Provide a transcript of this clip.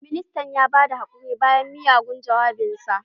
Ministan ya ba da haƙuri bayan miyagun jawabin sa